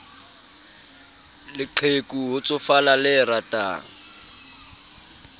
leqheku ho tsofala le ratang